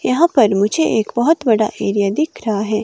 यहां पर मुझे एक बहोत बड़ा एरिया दिख रहा है।